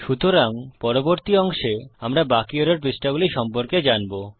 সুতরাং পরবর্তী অংশে আমরা বাকি এরর পৃষ্ঠাগুলি সম্পর্কে জানবো